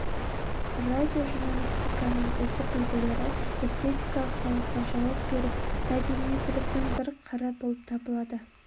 радиожурналистиканың үздік үлгілері эстетикалық талапқа жауап беріп мәдениеттіліктің бір қыры болып табылады